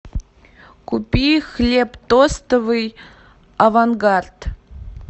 купи хлеб тостовый авангард